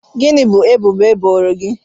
Gịnị bụ ebubo eboro gị?